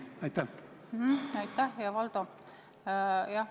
Aitäh, hea Valdo!